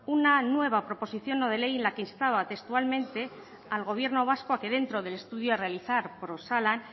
una nueva proposición no de ley en la que instaba textualmente al gobierno vasco a que dentro del estudio a realizar por osalan